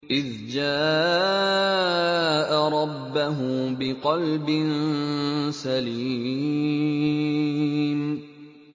إِذْ جَاءَ رَبَّهُ بِقَلْبٍ سَلِيمٍ